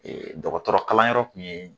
Ee dɔgɔtɔrɔ kalan yɔrɔ kun ye